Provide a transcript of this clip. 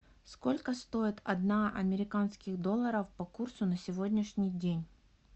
сколько стоит одна американских долларов по курсу на сегодняшний день